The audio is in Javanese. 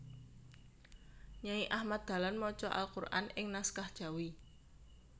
Nyai Ahmad Dahlan maca Al Qur an ing naskah Jawi